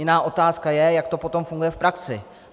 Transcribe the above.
Jiná otázka je, jak to potom funguje v praxi.